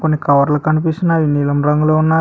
కొన్ని కవర్లు కనిపిస్తున్నాది అది నీలం రంగులో ఉన్నావి.